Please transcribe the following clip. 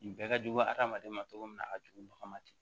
Nin bɛɛ ka jugu adamaden ma cogo min na a ka jugu mɔgɔ ma ten